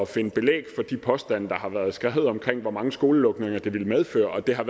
finde belæg for de påstande der har været beskrevet om hvor mange skolelukninger det ville medføre og det har